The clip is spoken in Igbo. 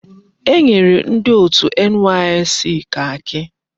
Enyere ndi otu NYSC kaki.